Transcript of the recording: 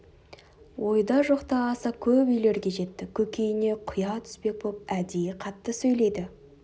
ойда жоқта аса көп үйлерге жетті көкейіне құя түспек боп әдейі қатты сөйлейді